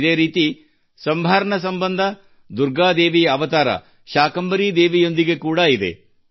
ಇದೇ ರೀತಿ ಸಂಭಾರ್ ಸಂಬಂಧ ದುರ್ಗಾದೇವಿಯ ಅವತಾರ ಶಾಕಾಂಬರಿ ದೇವಿಯೊಂದಿಗೆ ಕೂಡಾ ಇದೆ